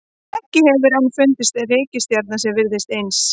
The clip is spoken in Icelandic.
Ekki hefur enn fundist reikistjarna sem virðist alveg eins.